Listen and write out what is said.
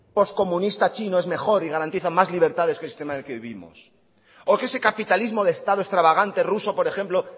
post comunista chino es mejor y garantiza más libertades que el sistema en el que vivimos o que ese capitalismo de estado extravagante ruso por ejemplo